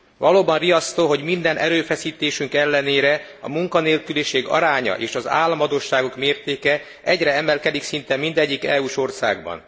Valóban riasztó, hogy minden erőfeszítésünk ellenére a munkanélküliség aránya és az államadósságok mértéke egyre emelkedik szinte mindegyik EU s országban.